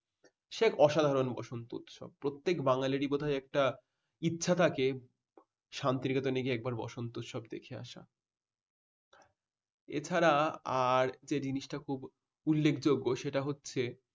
সে এক অসাধারণ বসন্ত উৎসব প্রত্যেক বাঙালিরই বোধহয় একটা ইচ্ছা থেকে যে শান্তিনিকেতনে গিয়ে একবার বসন্ত উৎসব দেখে আসা এছাড়া আর যে জিনিসটা খুব উল্লেখযোগ্য সেটা হচ্ছে